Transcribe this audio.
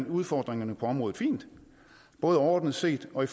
udfordringerne på området fint både overordnet set og i